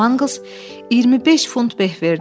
Con Manglz 25 funt beh verdi.